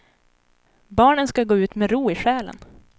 Barnen ska gå ut med ro i själen.